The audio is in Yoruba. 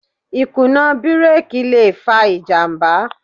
Ìkùnà bírèkì le fa ìjàmbá.